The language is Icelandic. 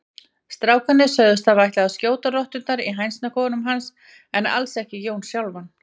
Strákarnir sögðust hafa ætlað að skjóta rotturnar í hænsnakofanum hans en alls ekki Jón sjálfan.